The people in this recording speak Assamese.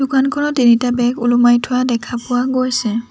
দোকানত তিনিটা বেগ ওলমাই থোৱা দেখা পোৱা গৈছে।